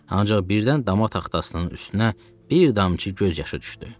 Ancaq birdən dama taxtasının üstünə bir damcı göz yaşı düşdü.